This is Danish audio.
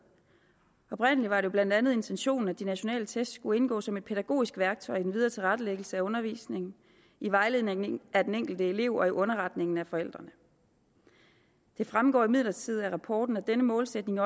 oprindelig var det jo blandt andet intentionen at de nationale test skulle indgå som et pædagogisk værktøj i den videre tilrettelæggelse af undervisningen i vejledningen af den enkelte elev og i underretningen af forældrene det fremgår imidlertid af rapporten at denne målsætning